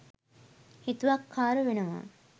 හිතුවක්කාර වෙනවා.